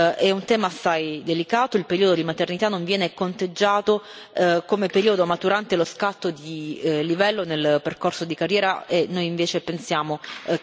È un tema assai delicato il periodo di maternità non viene conteggiato come periodo maturante lo scatto di livello nel percorso di carriera e noi invece pensiamo che esso debba essere equiparato.